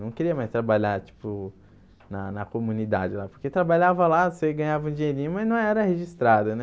Não queria mais trabalhar, tipo, na na comunidade lá, porque trabalhava lá, você ganhava um dinheirinho, mas não era registrado, né?